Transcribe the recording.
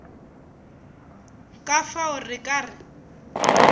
ka fao re ka re